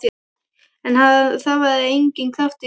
En það var enginn kraftur í þessu.